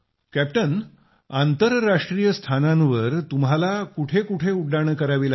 captain आंतरराष्ट्रीय स्थानांवर तुम्हाला कुठं कुठं उड्डाणं करावी लागली